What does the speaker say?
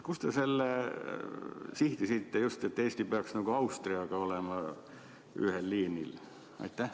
Kust te selle sihtisite, et Eesti peaks Austriaga olema ühel liinil?